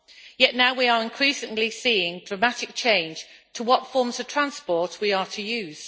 Yet now we are increasingly seeing dramatic change to what forms of transport we are to use.